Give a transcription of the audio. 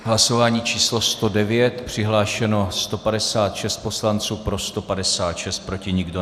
Hlasování číslo 109, přihlášeno 156 poslanců, pro 156, proti nikdo.